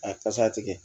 A kasa tigɛ